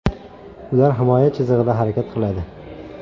Ular himoya chizig‘ida harakat qiladi.